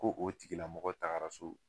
Ko o tigila mɔgɔ tagara so